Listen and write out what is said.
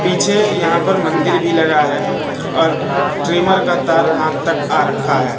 पीछे यहां पर मंदिर भी लगा है और ट्रिमर का तार हाथ तक आ रखा है।